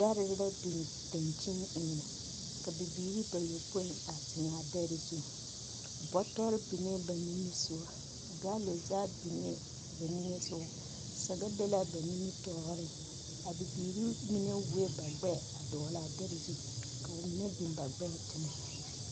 Dɛre la biŋ daŋkyini eŋɛ, ka bibiiri bapopõi a zeŋ a dɛre zu. Bɔtɔre biŋee ba nimisoga. Galo zage biŋee ba nimisoga saga be la aba nimitɔɔreŋ \. A bibiiri mine wuoe ba gbɛɛ a dɔgele a dɛre zu, ka ba mine biŋ ba gbɛɛ teŋɛ.